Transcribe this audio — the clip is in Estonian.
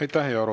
Aitäh!